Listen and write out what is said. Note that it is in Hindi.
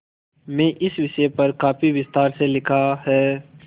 में इस विषय पर काफी विस्तार से लिखा है